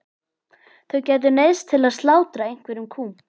Þau gætu neyðst til að slátra einhverjum kúm.